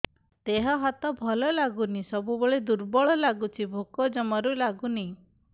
ଦେହ ହାତ ଭଲ ଲାଗୁନି ସବୁବେଳେ ଦୁର୍ବଳ ଲାଗୁଛି ଭୋକ ଜମାରୁ ଲାଗୁନି